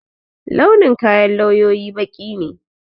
Launin kayan lawyoyi baƙi ne